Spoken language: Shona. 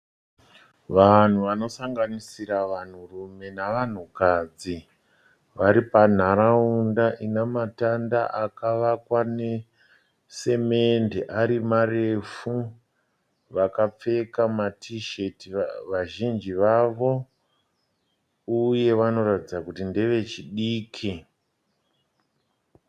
Vanhu vanosanganisira vanhurume navanhukadzi, vari panharaunda ina matanda akavakwa nesimende ari marefu. Vakapfeka matisheti vazhinji vavo uye vanoratidza kuti ndeve chidiki.